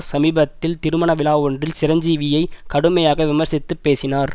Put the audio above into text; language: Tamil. சமீபத்தில் திருமண விழா ஒன்றில் சிரஞ்சீவியை கடுமையாக விமர்சித்து பேசினார்